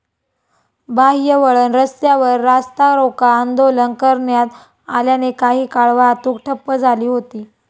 बाह्यवळण रस्त्यावर रास्तारोका आंदोलन करण्यात आल्याने काही काळ वाहतूक ठप्प झाली होती.